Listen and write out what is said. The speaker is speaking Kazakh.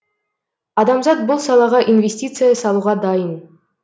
адамзат бұл салаға инвестиция салуға дайын